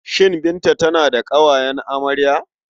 Shin Binta tana da ƙawayen amarya?